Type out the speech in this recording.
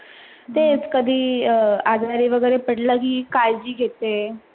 तेच कधि आजरी वगैरे पडलघी काळजी घेते.